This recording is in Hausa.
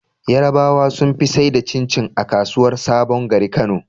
Yarabawa sun fi saida cin cin a kasuwar sabon gari kano